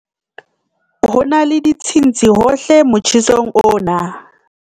ho na le ditshintshi hohle motjhesong ona